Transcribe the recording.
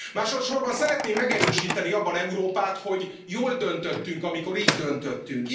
Másodsorban szeretném megerősíteni abban Európát, hogy jól döntöttünk, amikor így döntöttünk.